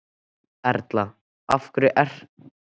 Erla: Af hverju er það mikilvægt?